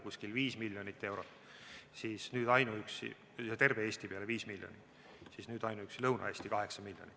Kui varem oli terve Eesti peale umbes viis miljonit, siis nüüd on ainuüksi Lõuna-Eestile kaheksa miljonit.